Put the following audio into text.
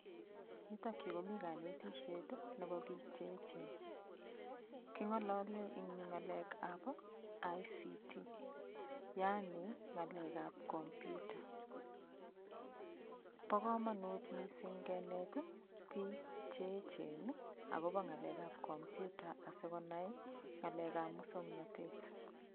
Yutokyu komi kanetishet nebo biik chechen kong'olole eng' yu ng'alekab ICT yaani ng'alekab komputa bo komonut mising' kenet biik cheechen akobo ng'alekab komputa asikonai ng'ale muswong'natet